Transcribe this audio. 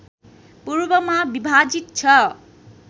पूर्वमा विभाजित छ